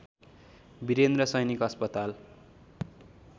वीरेन्द्र सैनिक अस्पताल